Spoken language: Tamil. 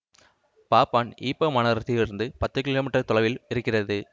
பாப்பான் ஈப்போ மாநகரத்தில் இருந்து பத்து கிமீ தொலைவில் இருக்கிறது